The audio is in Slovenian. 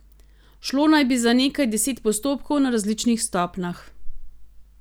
Šlo naj bi za nekaj deset postopkov na različnih stopnjah.